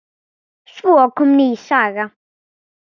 Svo kom ný saga.